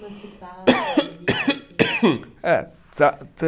Emancipar, se gerir, assim? É